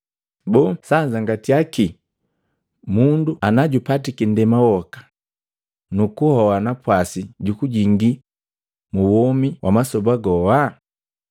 Boo sanzangatya kii mundu ana jupatiki nndema woka nukuhoa napwasi jukujingii muwomi wa masoba goa?